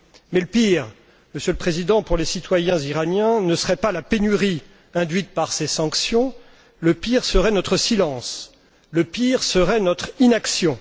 Mais le pire, Monsieur le Président, pour les citoyens iraniens ne serait pas la pénurie induite par ces sanctions, le pire serait notre silence, le pire serait notre inaction.